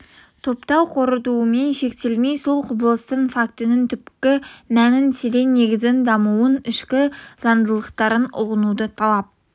топтап қорытумен шектелмей сол құбылыстың фактінің түпкі мәнін терең негізін дамуын ішкі заңдылықтарын ұғынуды талап